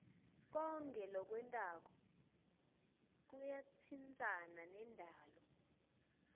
konkhe lokwentako kuyatsintsana nendalo